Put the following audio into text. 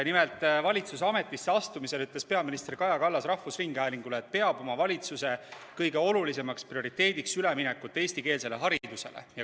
Nimelt, valitsuses ametisse astumisel ütles Kaja Kallas rahvusringhäälingule, et peab oma valitsuse kõige olulisemaks prioriteediks üleminekut eestikeelsele haridusele.